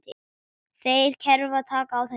Þeirra kerfi taki á þessu.